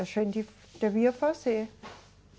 A gente devia fazer.